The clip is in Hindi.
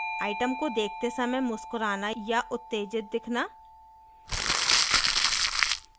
आइटम को देखते समय मुस्कुराना या उत्तेजित दिखना